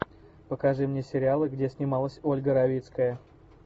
покажи мне сериалы где снималась ольга равицкая